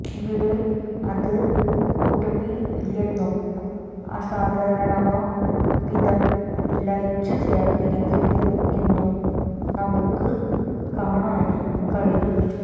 ഇവിടെ അത് ഒട്ടുമെ ഇല്ലെന്നും അസാധാരണമാം വിധം ലയിച്ചു ചേര്ന്നിരിക്കുന്നു എന്നും നമുക്ക് കാണാന് കഴിയും